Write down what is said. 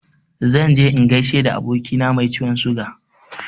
Zan je in gaishe da abokina mai ciwon suga.